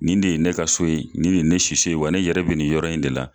Nin de ye ne ka so ye nin de ye ne siso ye wa ne be nin yɛrɛ be nin yɔrɔ in de la